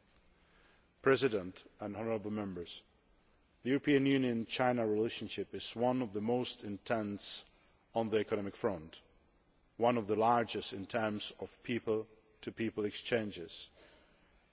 Mr President, honourable Members, the EU China relationship is one of the most intense on the economic front, one of the largest in terms of people to people exchanges,